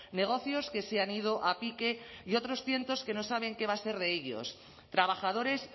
negocios que se han ido a pique y otros cientos que no saben qué va a ser de ellos trabajadores